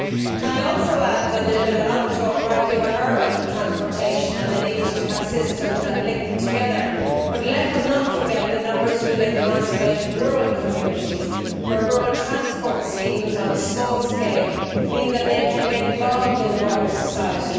Can I also add that there has rightly been a lot of talk about urban transportation and the need to have systems that link together, but let us not forget the numbers of people who live in isolated rural communities, where rural transport schemes on a small scale mean that they can get involved in the wider society.